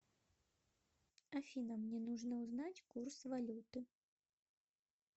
афина мне нужно узнать курс валюты